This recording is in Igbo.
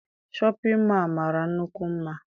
Shọpịn mọọ a mara nnukwu mma.